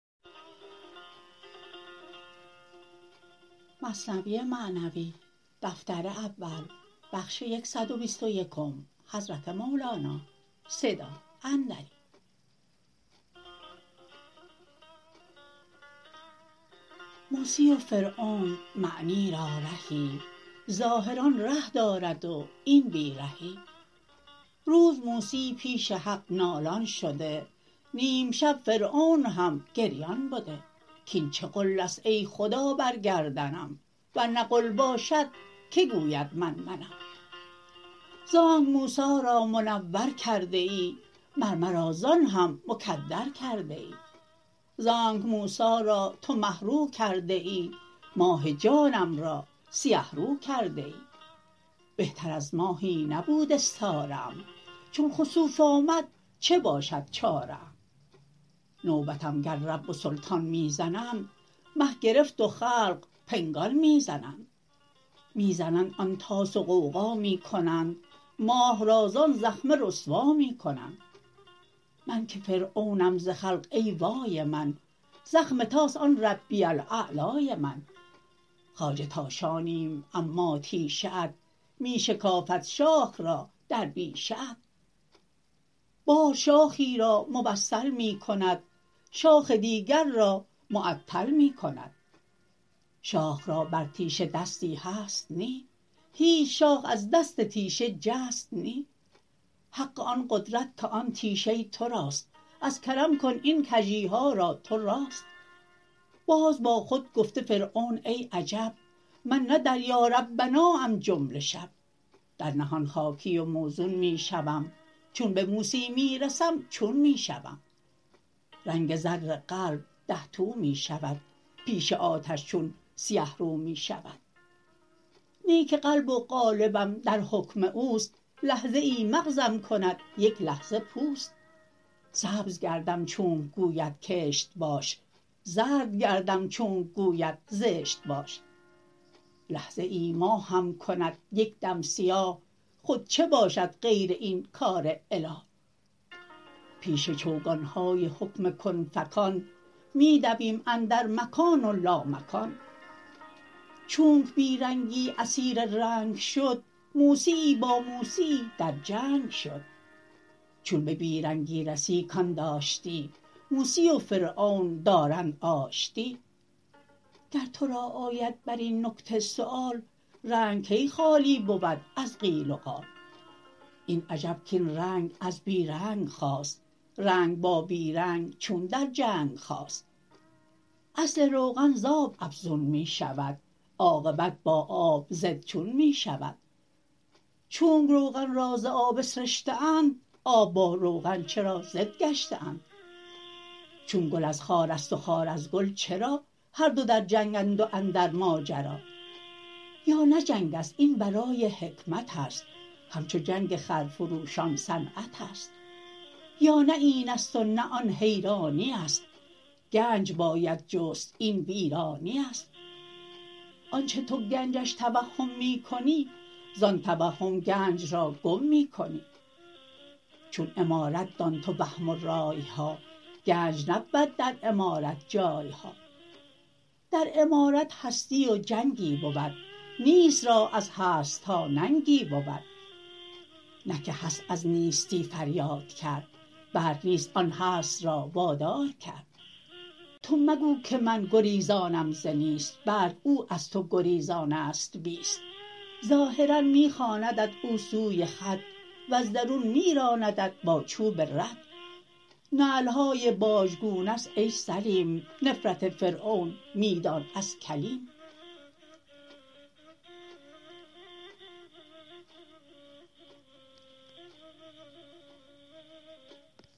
موسی و فرعون معنی را رهی ظاهر آن ره دارد و این بی رهی روز موسی پیش حق نالان شده نیمشب فرعون هم گریان بده کین چه غلست ای خدا بر گردنم ورنه غل باشد کی گوید من منم زانک موسی را منور کرده ای مر مرا زان هم مکدر کرده ای زانک موسی را تو مه رو کرده ای ماه جانم را سیه رو کرده ای بهتر از ماهی نبود استاره ام چون خسوف آمد چه باشد چاره ام نوبتم گر رب و سلطان می زنند مه گرفت و خلق پنگان می زنند می زنند آن طاس و غوغا می کنند ماه را زان زخمه رسوا می کنند من که فرعونم ز خلق ای وای من زخم طاس آن ربی الاعلای من خواجه تاشانیم اما تیشه ات می شکافد شاخ را در بیشه ات باز شاخی را موصل می کند شاخ دیگر را معطل می کند شاخ را بر تیشه دستی هست نی هیچ شاخ از دست تیشه جست نی حق آن قدرت که آن تیشه تراست از کرم کن این کژیها را تو راست باز با خود گفته فرعون ای عجب من نه در یا ربناام جمله شب در نهان خاکی و موزون می شوم چون به موسی می رسم چون می شوم رنگ زر قلب ده تو می شود پیش آتش چون سیه رو می شود نه که قلب و قالبم در حکم اوست لحظه ای مغزم کند یک لحظه پوست سبز گردم چونک گوید کشت باش زرد گردم چونک گوید زشت باش لحظه ای ماهم کند یک دم سیاه خود چه باشد غیر این کار اله پیش چوگانهای حکم کن فکان می دویم اندر مکان و لامکان چونک بی رنگی اسیر رنگ شد موسیی با موسیی در جنگ شد چون به بی رنگی رسی کان داشتی موسی و فرعون دارند آشتی گر ترا آید برین نکته سیوال رنگ کی خالی بود از قیل و قال این عجب کین رنگ از بی رنگ خاست رنگ با بی رنگ چون در جنگ خاست اصل روغن ز آب افزون می شود عاقبت با آب ضد چون میشود چونک روغن را ز آب اسرشته اند آب با روغن چرا ضد گشته اند چون گل از خارست و خار از گل چرا هر دو در جنگند و اندر ماجرا یا نه جنگست این برای حکمتست همچو جنگ خر فروشان صنعتست یا نه اینست و نه آن حیرانیست گنج باید جست این ویرانیست آنچ تو گنجش توهم می کنی زان توهم گنج را گم می کنی چون عمارت دان تو وهم و رایها گنج نبود در عمارت جایها در عمارت هستی و جنگی بود نیست را از هستها ننگی بود نه که هست از نیستی فریاد کرد بلک نیست آن هست را واداد کرد تو مگو که من گریزانم ز نیست بلک او از تو گریزانست بیست ظاهرا می خواندت او سوی خود وز درون می راندت با چوب رد نعلهای بازگونه ست ای سلیم نفرت فرعون می دان از کلیم